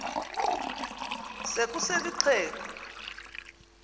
se kusel ixheg